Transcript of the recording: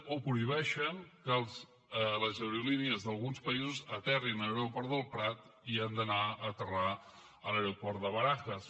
o prohibeixen que les aerolínies d’alguns països aterrin a l’aeroport del prat i han d’anar d’aterrar a l’aeroport de barajas